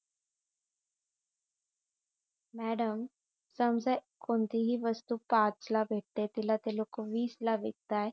madam समजा कोणतीही वस्तू पाच ला भेट ते तिला ती लोकं वीस ला विकताय